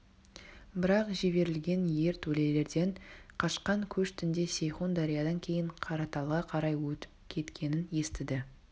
бірақ жіберілген ертөлелерден қашқан көш түнде сейхун дариядан кейін қараталға қарай өтіп кеткенін естіді